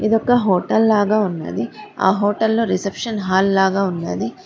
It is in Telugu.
ఇది ఒక హోటల్ లాగా ఉన్నది ఆ హోటల్లో రిసెప్షన్ హాల్ లాగా ఉన్నది.